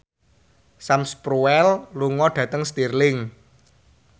Sam Spruell lunga dhateng Stirling